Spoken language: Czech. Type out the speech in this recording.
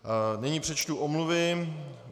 Nyní přečtu omluvy.